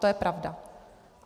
To je pravda.